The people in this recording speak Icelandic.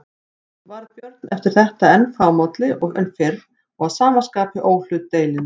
Varð Björn eftir þetta enn fámálli en fyrr og að sama skapi óhlutdeilinn.